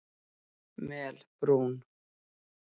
Melbrún